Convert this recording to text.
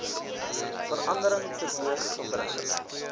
verandering teweeg gebring